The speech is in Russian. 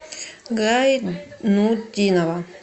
гайнутдинова